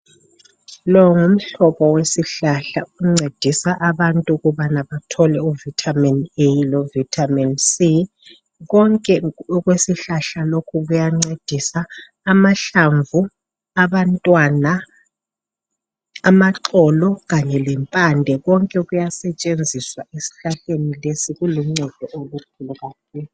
Lo ngumhlobo wesihlahla oncedisa abantu ukubana bathole u Vitamin A loVitamin C. Konke okwesihlahla lesi kuyancedisa, abantwana, mahlamvu, amaxolo kanye lempande konke kuyasetshenziswa esihlahleni lesi. Kuluncedo kakhulu.